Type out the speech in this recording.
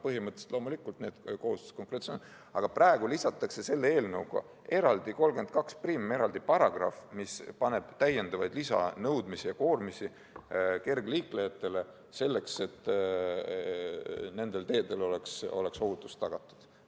Põhimõtteliselt on need kohustused olemas, aga praegu lisatakse selle eelnõuga seadusesse § 321, eraldi paragrahv, mis paneb täiendavad nõudmised ja koormised kergliiklejatele, et nendel teedel oleks ohutus tagatud.